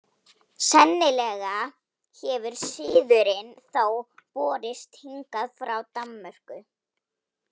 Sennilega hefur siðurinn þó borist hingað frá Danmörku.